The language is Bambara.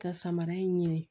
Ka samara in ɲini